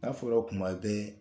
N'a fɔra kuma bɛɛ